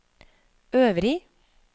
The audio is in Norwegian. øvrig